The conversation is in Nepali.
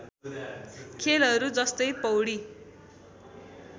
खेलहरू जस्तै पौडी